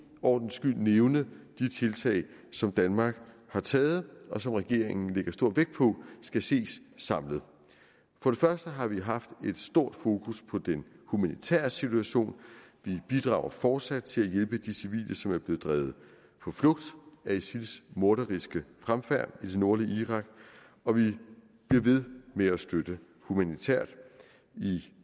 ordens skyld nævne de tiltag som danmark har taget og som regeringen lægger stor vægt på skal ses samlet for det første har vi haft et stort fokus på den humanitære situation vi bidrager fortsat til at hjælpe de civile som er blevet drevet på flugt af isils morderiske fremfærd i det nordlige irak og vi bliver ved med at støtte humanitært i